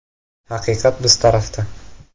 Haqiqat biz tarafda.